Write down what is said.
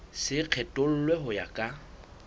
se kgethollwe ho ya ka